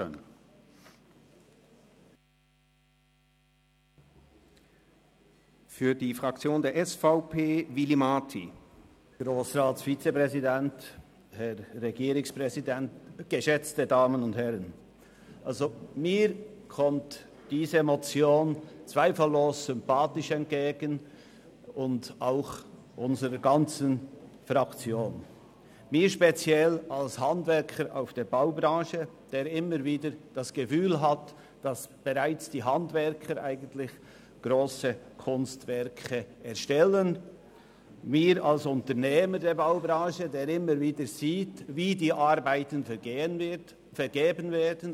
Mir und unserer gesamten Fraktion kommt diese Motion zweifellos sympathisch entgegen, mir speziell als Handwerker aus der Baubranche, der immer wieder das Gefühl hat, bereits die Handwerker erstellten eigentlich grosse Kunstwerke, mir aber auch als Unternehmer der Baubranche, der immer wieder sieht, wie die Arbeiten vergeben werden.